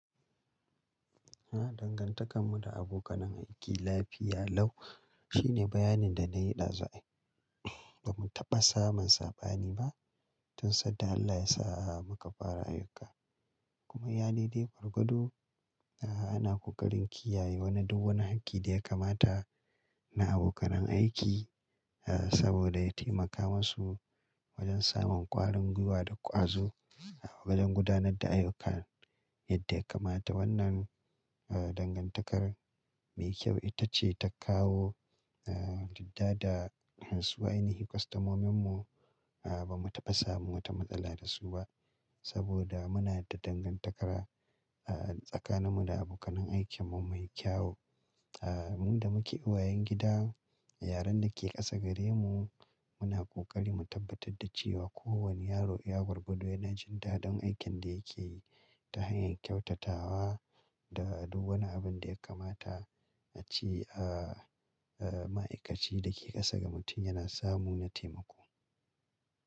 A dangantakar mu da abokanan aiki lafiya lau shine bayanin da na yi ɗazu. Bamu taɓa samun saɓani ba tun sanda Allah ya sa a maka fara ayuka. Kuma iyalai dai gargado ana ƙoƙarin kiyaye wani duk wani haki da ya kamata na abokanan aiki saboda ya taimaka masu wajen samun ƙwarin gwiwa da ƙwazo wajen gudanar da ayyuka. Yadda ya kamata wannan dangantakar mai kyau ita ce ta kawo jadda da wasu ainihi kwastamomin mu. Bamu taɓa samun wata matsala da su ba saboda muna da dangantakara tsakanin mu da abokanai aikin mu mai kyau. Mu da muke uwayen gida, yaran da ke ƙasa gare mu muna ƙoƙari mu tabbatar da cewa kowane yaro ya gwargado yana jinta don aikin da yake yi ta hanyar kyautatawa da duk wani abin da ya kamata a ci a ma'aikaci da ke ƙasa ga mutum yana samu na taimako.